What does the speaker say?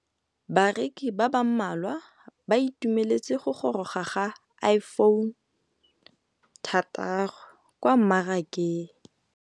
Bareki ba ba malwa ba ituemeletse go gôrôga ga Iphone6 kwa mmarakeng.